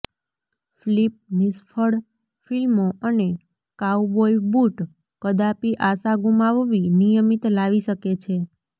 flip નિષ્ફળ ફિલ્મો અને કાઉબોય બૂટ કદાપિ આશા ગુમાવવી નિયમિત લાવી શકે છે